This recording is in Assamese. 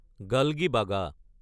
গালগিবাগা